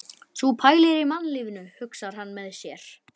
Sú pælir í mannlífinu, hugsar hann með sér.